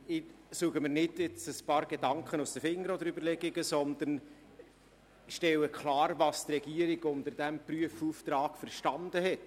» Ich werde nicht versuchen, mir ein paar Überlegungen aus den Fingern zu saugen, sondern ich werde klarstellen, was die Regierung unter diesem Prüfauftrag verstanden hat.